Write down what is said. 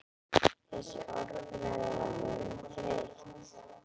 Þessi orðræða er orðin þreytt!